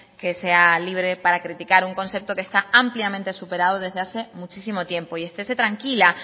que sea libre para criticar un concepto que está ampliamente superado desde hace muchísimo tiempo y estese tranquila